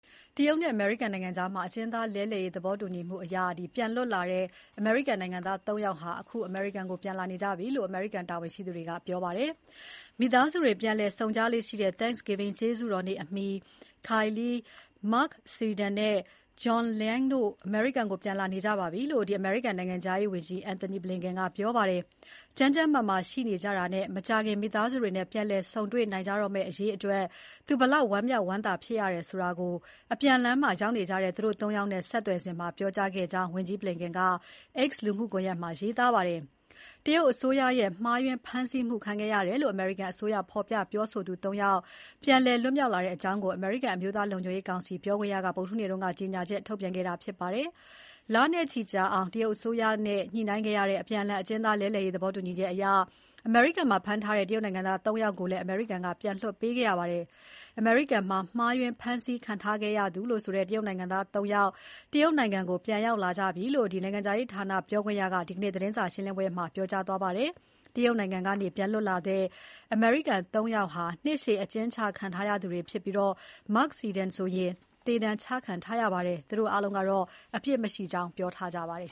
တရုတ်နဲ့အမေရိကန်ကြား အကျဉ်းသားလဲလှယ်ရေး သဘောတူညီမှုနဲ့ တရုတ်ကနေ ပြန်လည်လွတ်မြောက်လာတဲ့ အမေရိကန်နိုင်ငံသား ၃ ယောက် အိမ်ပြန်လာနေကြပြီလို့ အမေရိကန်တာဝန်ရှိသူတွေက ပြောပါတယ်။ မိသားစုတွေ ပြန်လည်ဆုံကြလေ့ရှိတဲ့ Thanksgiving ကျေးဇူးတော်နေ့အမီ Kai Li, Mark Swidan နဲ့ John Leung တို့ အမေရိကန်ကို ပြန်လာနေကြပါပြီလို့ အမေရိကန်နိုင်ငံခြားရေးဝန်ကြီး Antony Blinken ကပြောပါတယ်။ ကျန်းကျန်းမာမာရှိနေကြတာနဲ့ မကြာခင် မိသားစုတွေနဲ့ ပြန်လည်ဆုံတွေ့ နိုင်ကြတော့မယ့်အရေးအတွက် သူဘယ်လောက် ဝမ်းမြောက်ဝမ်းသာဖြစ်ရတယ်လို့ အပြန်လမ်းမှာ ရောက်နေကြတဲ့ သူတို့ ၃ ယောက်နဲ့ ဆက်သွယ်စဉ်မှာ ပြောခဲ့ကြောင်း ဝန်ကြီးBlinken က X လူမှုကွန်ရက်ပေါ်မှာ ရေးသားခဲ့ပါတယ်။ တရုတ်အစိုးရရဲ့ မှားယွင်းဖမ်းဆီးမှု ခံခဲ့ရတယ်လို့ အမေရိကန်အစိုးရ ဖော်ပြပြောဆိုသူ ၃ ယောက် ပြန်လည်လွတ်မြောက်လာတဲ့အကြောင်းကို အမေရိကန်အမျိုးသားလုံခြုံရေးကောင်စီ ပြောခွင့်ရက ဗုဒ္ဓဟူးနေ့က ကြေညာချက်ထုတ်ပြန်ခဲ့တာဖြစ်ပါတယ်။ လနဲ့ချီကြာအောင် တရုတ်အစိုးရနဲ့ ညှိနှိုင်းခဲ့ရတဲ့ အကျဉ်းသား အပြန်အလှန်လဲလှယ်ရေးသဘောတူညီချက်အရ အမေရိကန်မှာ ဖမ်းထားတဲ့ တရုတ်နိုင်ငံသား ၃ ယောက်ကိုလည်း အမေရိကန်က ပြန်လွှတ်ပေးခဲ့ရပါတယ်။ အမေရိကန်မှာ မှားယွင်းဖမ်းဆီးခံထားရသူ တရုတ်နိုင်ငံသား ၃ ယောက် တရုတ်နိုင်ငံကို ပြန်ရောက် လာကြပြီလို့ နိုင်ငံခြားရေးဌာန ပြောခွင့်ရက ဒီနေ့သတင်းစာရှင်းပွဲမှာ ပြောကြားသွားခဲ့ပါတယ်။ တရုတ်နိုင်ငံကနေ ပြန်လွတ်လာတဲ့ အမေရိကန် ၃ ယောက်ဟာ နှစ်ရှည်အကျဉ်းချခံထားရသူတွေ ဖြစ်ပြီး Mark Swidan ဆိုရင် သေဒဏ်ချခံထားရပါတယ်။ သူတို့အားလုံးက အပြစ်မရှိကြောင်း ပြောထားကြပါတယ်